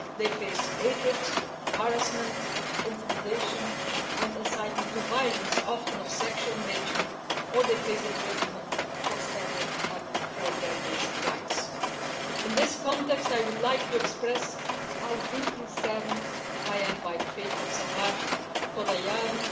They face hatred, harassment, intimidation and incitement to violence, often of a sexual nature, or they face imprisonment for standing up for their basic rights. In this context, I would like to express how deeply saddened I am by the fate of Sahar Khodayari,